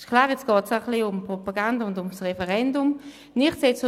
Nun geht es auch ein bisschen um die Propaganda und um das Referendum, das ist klar.